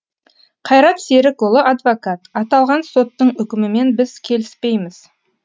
қайрат серікұлы адвокат аталған соттың үкімімен біз келіспейміз